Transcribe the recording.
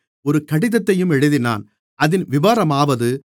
ஒரு கடிதத்தையும் எழுதினான் அதின் விபரமாவது